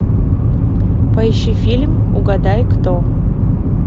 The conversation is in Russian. поищи фильм угадай кто